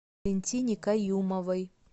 валентине каюмовой